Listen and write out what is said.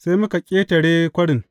Sai muka ƙetare kwarin.